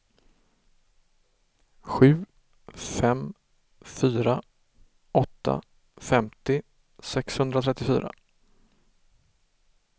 sju fem fyra åtta femtio sexhundratrettiofyra